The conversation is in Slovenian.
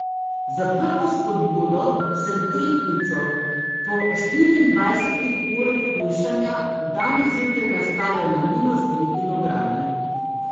Za prvo spodbudo sem tehtnico po štiriindvajsetih urah hujšanja danes zjutraj nastavil na minus tri kilograme.